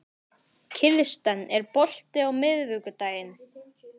Kirsten, er bolti á miðvikudaginn?